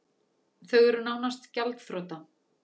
Þau eru nánast gjaldþrota